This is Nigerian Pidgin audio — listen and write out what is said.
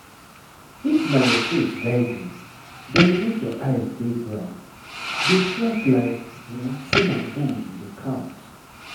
if na your faith guide you then make your eyes dey ground. dey track like say na gold you dey count.